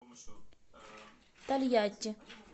тольятти